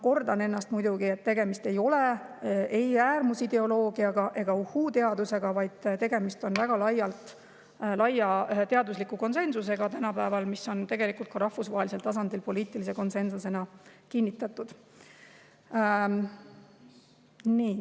" Kordan ennast, et tegemist ei ole ei äärmusideoloogiaga ega uhuu-teadusega, vaid tegemist on tänapäeval väga laia teadusliku konsensusega, mis on tegelikult ka rahvusvahelisel tasandil poliitilise konsensusena kinnitatud.